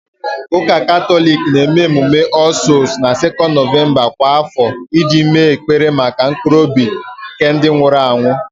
Ụka Katọlik na-eme emume "All Souls" na 2nd November kwa afọ iji kpe ekpere maka mkpụrụ obi nke ndị ụka nile nwụrụ anwụ